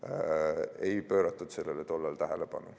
Sellele ei pööratud tol ajal tähelepanu.